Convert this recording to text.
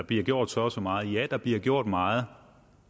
bliver gjort så og så meget ja der bliver gjort meget